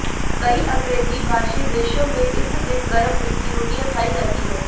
कई अंग्रेजी भाषी देशों में इस दिन गर्म मीठी रोटियां खाइ जाती हैं